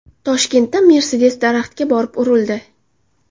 Toshkentda Mercedes daraxtga borib urildi.